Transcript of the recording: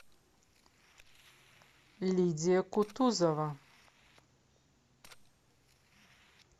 лидия кутузова